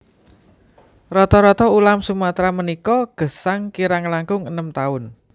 Rata rata ulam Sumatra punika gesang kirang langkung enem taun